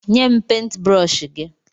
Nye m pentbrọshi gị!